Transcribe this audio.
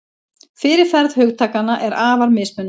Fyrirferð hugtakanna er afar mismunandi.